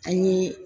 An ye